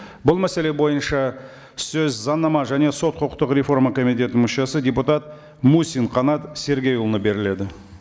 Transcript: бұл мәселе бойынша сөз заңнама және сот құқықтық реформа комитетінің мүшесі депутат мусин қанат сергейұлына беріледі